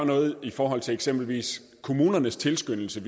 noget i forhold til eksempelvis kommunernes tilskyndelse